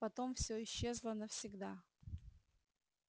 потом всё исчезло навсегда